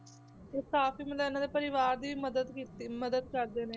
ਤੇ ਕਾਫ਼ੀ ਮਤਲਬ ਇਹਨਾਂ ਦੇ ਪਰਿਵਾਰ ਦੀ ਵੀ ਮਦਦ ਕੀਤੀ ਮਦਦ ਕਰਦੇ ਨੇ,